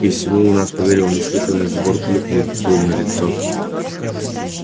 и всему у нас поверил неслыханный сбор клюквы был налицо